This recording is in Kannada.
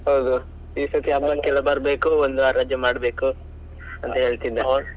ಹೌದು ಈಸರ್ತಿ ಹಬ್ಬಕ್ಕೆಲ್ಲ ಬರ್ಬೇಕು ಒಂದ್ವರ ರಜೆ ಮಾಡ್ಬೇಕು ಅಂತ ಹೇಳ್ತಿದ್ದ.